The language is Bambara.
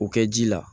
O kɛ ji la